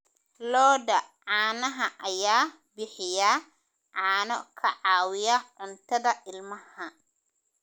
Lo'da caanaha ayaa bixiya caano ka caawiya cuntada ilmaha.